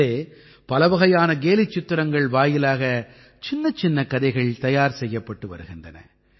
இதிலே பலவகையான கேலிச்சித்திரங்கள் வாயிலாக சின்னச்சின்னக் கதைகள் தயார் செய்யப்பட்டு வருகின்றன